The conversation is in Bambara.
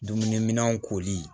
Dumuniminɛnw kooli